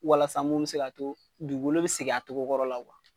Walasa mun bi se k'a to dugukolo bi seg'a togo kɔrɔ la.